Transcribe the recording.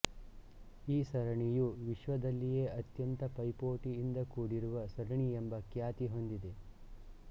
ಈ ಸರಣಿಯು ವಿಶ್ವದಲ್ಲಿಯೇ ಅತ್ಯಂತ ಪೈಪೋಟಿಯಿಂದ ಕೂಡಿರುವ ಸರಣಿಯೆಂಬ ಖ್ಯಾತಿ ಹೊಂದಿದೆ